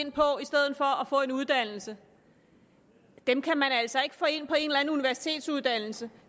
og at få en uddannelse dem kan man altså ikke få ind på en eller anden universitetsuddannelse